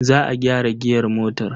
Za a gyara giyar motar.